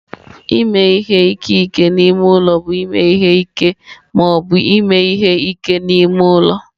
Ime ihe ike n'ime ụlọ bụ ime ihe ike ma ọ bụ ime ihe ike n'ime ụlọ.